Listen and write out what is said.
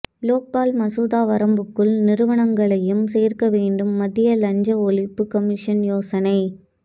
லோக்பால் மசோதா வரம்புக்குள் நிறுவனங்களையும் சேர்க்கவேண்டும் மத்திய லஞ்ச ஒழிப்பு கமிஷன் யோசனை